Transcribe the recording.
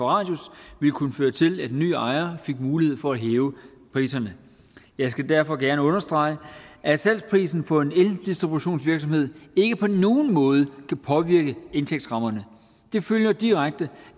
radius ville kunne føre til at en ny ejer fik mulighed for at hæve priserne jeg skal derfor gerne understrege at salgsprisen for en eldistributionsvirksomhed ikke på nogen måde kan påvirke indtægtsrammerne det følger direkte